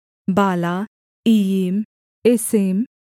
बाला इय्यीम एसेम